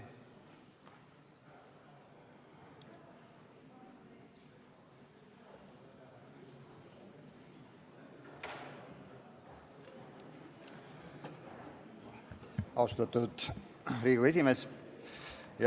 Austatud Riigikogu esimees!